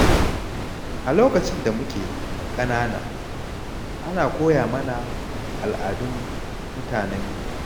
A lokacin da muke ƙanana, ana koya mana al’adun mutanenmu.